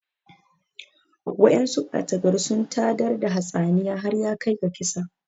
Wa'yansu ɓata gari sun tayar da hatsaniyar har yakai ga kisa